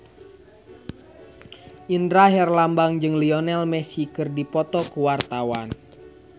Indra Herlambang jeung Lionel Messi keur dipoto ku wartawan